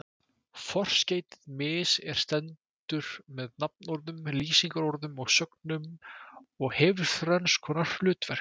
Forskeytið mis- er stendur með nafnorðum, lýsingarorðum og sögnum og hefur þrenns konar hlutverk.